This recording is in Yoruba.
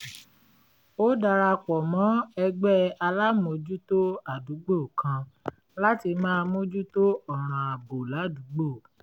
ó dara pọ̀ mọ́ ẹgbẹ́ alámòójútó àdúgbò kan láti máa mójú tó ọ̀ràn ààbò ládùúgbò